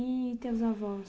E teus avós?